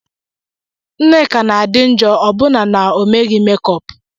Nneka na-adị njọ ọbụna na omeghi mekup